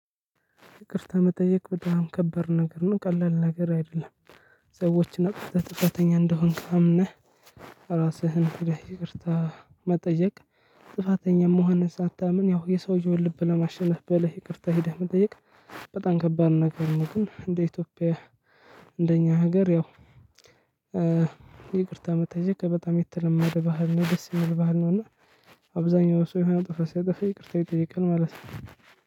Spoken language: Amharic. ይቅርታ መጠየቅ በጣም ከባድ ነገር ነው ቀላል ነገር አይደለም። ሰዎች አጥፍተህ ጥፋተኛ እንደሆንክ አምነህ ራስህን ክደህ ይቅርታ መጠየቅ። ጥፋተኛ መሆንህን ሳታምን ያው የሰውየውን ልብ ለማሸነፍ ብለህ ይቅርታ ሄደህ መጠየቅ። በጣም ከባድ ነገር ነው። ግን እንደ ኢትዮጵያ እንደኛ ሀገር ያው። ይቅርታ መጠየቅ በጣም የተለመደ ባህል ነው ደስ የሚል ባህል ነው። እና አብዛኛው ሰው የሆነ ጥፋት ሲጠፋ ይቅርታ ይጠይቃል ማለት ነው።